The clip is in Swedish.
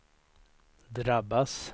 drabbas